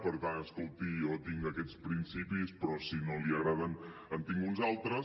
per tant escolti jo tinc aquests principis però si no li agraden en tinc uns altres